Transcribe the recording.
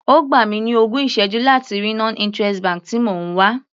Ó gbà mi ní ogún ìsẹ́jú láti rí non interest bank tí mò ń wá.